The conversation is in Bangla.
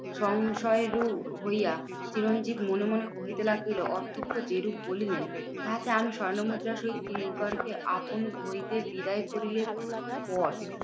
সংশয় রূপ হইয়া চিরঞ্জিত মনে মনে কহিতে লাগিলো যেরূপ বলিলেন, তাহাতে আমি স্বর্ণমুদ্রা সহিত কিঙ্করকে আপন হইতে বিদায় করিলে পর